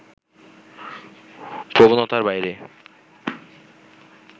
প্রবণতার বাইরে